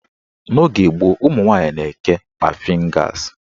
N'oge gboo, ụmụnwanyị na-eke kpafin gas.